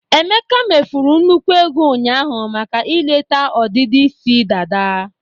Emeka mefuru nnukwu ego ụnyaahụ maka ileta ọdịdị isi dada.